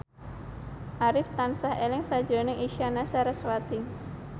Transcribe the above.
Arif tansah eling sakjroning Isyana Sarasvati